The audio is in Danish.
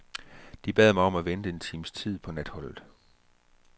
De bad mig om at vente en times tid på natholdet.